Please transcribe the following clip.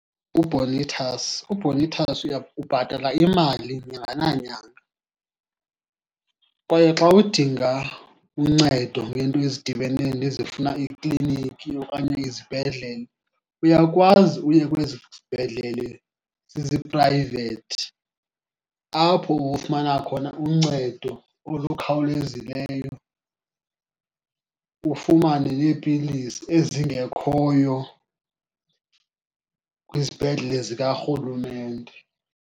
UBonitas, uBonitas , ubhatala imali nyanga nanyanga. Kwaye xa udinga uncedo ngeento ezidibene nezifuna ikliniki okanye izibhedlele, uyakwazi uye kwezi zibhedlele ziziprayivethi apho ufumana khona uncedo olukhawulezileyo, ufumane neepilisi ezingekhoyo kwizibhedlele zikarhulumente.